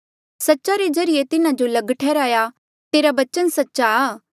सच्चा रे ज्रीए तिन्हा जो लग ठैहराया तेरा बचन सच्चा आ